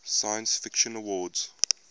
science fiction awards